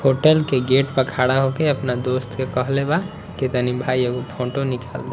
Hotel के gate पर खड़ा हो के अपना दोस्त के कहले बा की तनी भाई एगो फोटो निकाल दे।